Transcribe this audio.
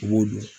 U b'o dɔn